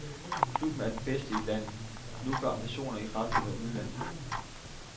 Klubben er den bedste i landet, nu går ambitionerne i retning af udlandet.